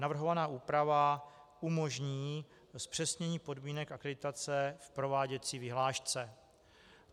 Navrhovaná úprava umožní zpřesnění podmínek akreditace v prováděcí vyhlášce.